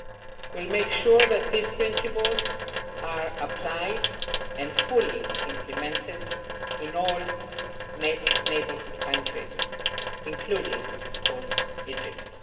We will make sure that these principles are applied and fully implemented in all neighbourhood countries, including of course Egypt.